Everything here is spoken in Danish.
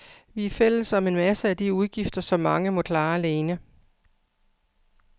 Vi er fælles om en masse af de udgifter, som mange må klare alene.